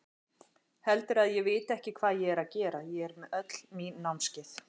Heldurðu að ég viti ekki hvað ég er að gera, ég með öll mín námskeið.